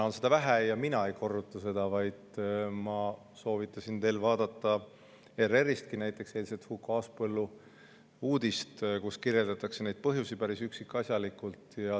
Ja mina ei korruta seda, vaid ma soovitasin teil näiteks vaadata ERR-ist Huko Aaspõllu eilset uudist, kus kirjeldatakse neid põhjusi päris üksikasjalikult.